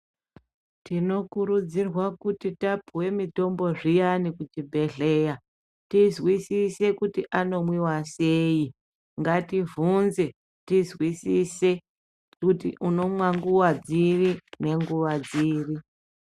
Tinokurudzirwa kuti tapuwa mutombo zviyani kuchibhehleya tizwisise kuti anomwiwa sei ngati vhunze tizwisise kuti unomwa nguwa dziri nenguwa dziri .